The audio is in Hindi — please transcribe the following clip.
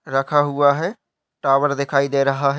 रखा हुआ है टावर दिखाई दे रहा है।